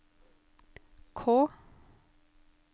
K